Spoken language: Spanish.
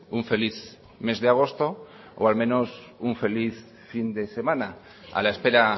un feliz mes de agosto o al menos un feliz fin de semana a la espera